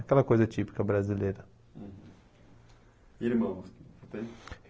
Aquela coisa típica brasileira. E irmãos, tem?